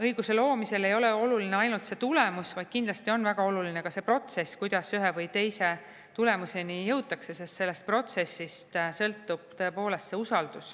õiguse loomisel ei ole oluline ainult tulemus, vaid kindlasti on väga oluline ka see protsess, kuidas ühe või teise tulemuseni jõutakse, sest sellest protsessist sõltub tõepoolest see usaldus.